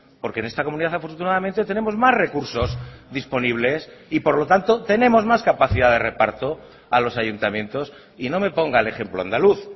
porque en esta comunidad afortunadamente tenemos más recursos disponibles y por lo tanto tenemos más capacidad de reparto a los ayuntamientos y no me ponga el ejemplo andaluz